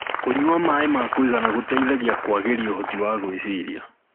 kũnyua maĩ ma kuigana gũteithagia kuagirĩa uhoti wa gwicirĩa